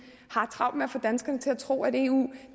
har travlt med at få danskerne til at tro at eu